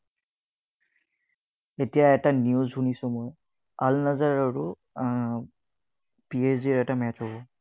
এতিয়া এটা news শুনিছো মই। আল নজৰ আৰু পি এছ জিৰ এটা match হব।